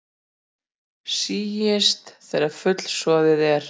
Síist þegar fullsoðið er.